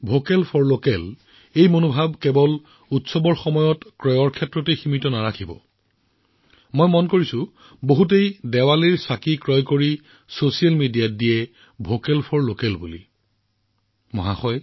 vocal for লোকেলৰ এই মনোভাৱ কেৱল উৎসৱৰ বজাৰ কৰাত সীমাবদ্ধ নহয় আৰু মই দেখা কৰবাত মানুহে দীপাৱলী দিয়া কিনি তাৰ পিছত ছচিয়েল মিডিয়াত ভোকেল ফৰ লোকেল পোষ্ট কৰেনহয় নে